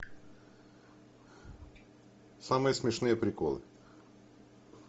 самые смешные приколы